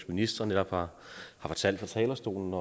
minister netop har fortalt fra talerstolen